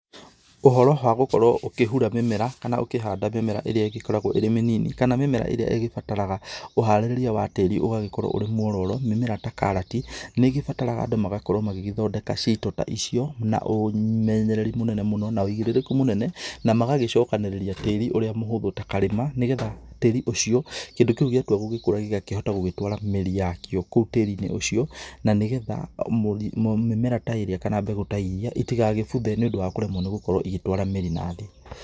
Ũhoro wa gũkorwo ũkĩhura mĩmera, kana ũkĩhanda mĩmera ĩrĩa ĩgĩkoragwo ĩrĩ mĩnini, kana mĩmera ĩrĩa ĩgĩbataraga ũharĩrĩria wa tĩri ũgagĩkorwo ũrĩ mwororo. Mĩmera ta karati, nĩgĩbataraga andũ magakorwo magĩgĩthondeka cito ta icio na ũmenyereri mũnene mũno na ũigĩrĩrĩku mũnene, na magagĩcokanĩrĩria tĩri ũrĩa mũhũthũ ta karĩma, nĩgetha tĩri ũcio kĩndũ kĩu gĩatua gũgĩkũra gĩgakĩhota gũtũara mĩri yakĩo kũu tĩri-inĩ ũcio, na nĩgetha mĩmera ta ĩrĩa kana mbegũ ta irĩa itigakĩbuthe, nĩũndũ wa kũremwo gũkorwo igĩtwara mĩri na thĩ.